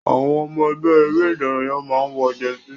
Àwọn ọmọ ẹgbẹ́ eré ìdárayá máa n wọ jẹsí.